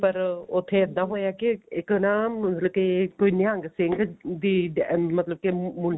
ਪਰ ਉੱਥੇ ਇੱਦਾਂ ਹੋਇਆ ਕੀ ਇੱਕ ਨਾ ਰਕੇਸ਼ ਕੋਈ ਨਿਹੰਗ ਦੀ ਦੇ ਮਤਲਬ ਕੀ